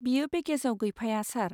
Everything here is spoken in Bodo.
बेयो पेकेजआव गैफाया, सार।